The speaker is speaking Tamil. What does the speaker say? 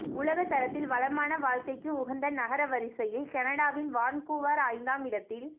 உலக தரத்தில் வளமான வாழ்க்கைக்கு உகந்த நகர வரிசையில் கனடாவின் வான்கூவர் ஐந்தாம் இடத்தில்